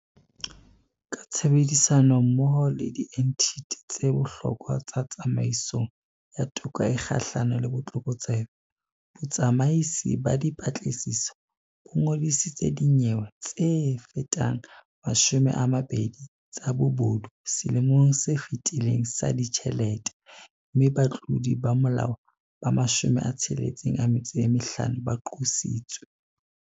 Ka tshebedisanommoho le dienthithi tse bohlokwa tsa tsamaisong ya toka e kgahlano le botlokotsebe, Botsamaisi ba Dipatlisiso bo ngodisitse dinyewe tsefetang 20 tsa bobodu selemong se fetileng sa ditjhelete mme batlodi ba molao ba 65 ba qositswe.